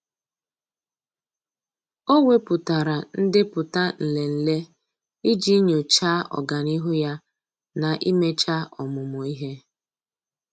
Ọ́ wèpụ̀tárà ndepụta nlele iji nyòcháá ọ́gànihu ya na íméchá ọ́mụ́mụ́ ihe.